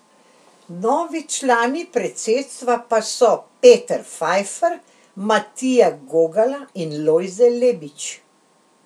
Novi člani predsedstva pa so Peter Fajfar, Matija Gogala in Lojze Lebič.